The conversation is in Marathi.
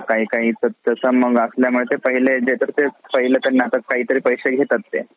काही काही तसं मग असल्या मुळे ते पाहिले देतात ते पाहिले त्यांना काही तरी पैसे घेतात ते.